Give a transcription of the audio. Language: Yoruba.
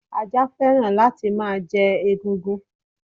Ajá fẹ́ràn láti máa jẹ egungun.